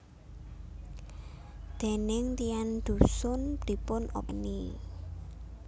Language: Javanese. Déning tiyang dhusun dipun openi